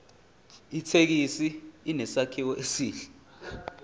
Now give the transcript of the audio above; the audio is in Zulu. ithekisi inesakhiwo esihle